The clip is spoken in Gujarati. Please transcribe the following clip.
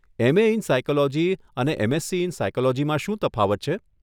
એમ. એ. ઇન સાયકોલોજી અને એમ.એસસી. ઇન સાયકોલોજીમાં શું તફાવત છે?